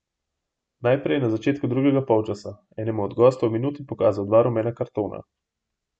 Najprej je na začetku drugega polčasa enemu od gostov v minuti pokazal dva rumena kartona.